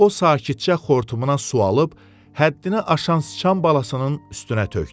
O sakitcə xortumuna su alıb həddini aşan sıçan balasının üstünə tökdü.